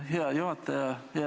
Aitäh, hea juhataja!